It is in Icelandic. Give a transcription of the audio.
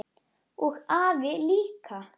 Og afi líka!